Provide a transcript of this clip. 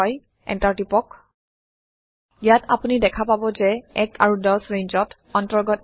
enter টিপক ইয়াত আপোনি দেখা পাব যে ১ আৰু ১০ ৰেঞ্জত অন্তৰ্গত আছে